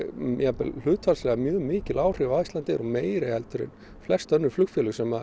bara hlutfallslega mikil áhrif á Icelandair og meiri heldur en flest önnur flugfélög sem